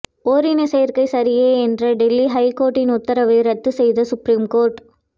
ஓரினச் சேர்க்கை சரியே என்ற டெல்லி ஹைகோர்ட்டின் உத்தரவை ரத்து செய்த சுப்ரீம் கோர்ட்